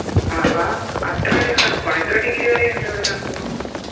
ആഹാ അത്ര അധികം തണുപ്പാണോ എത്ര degree വരെ ഇണ്ട് ഇവിടെ തണുപ്പ്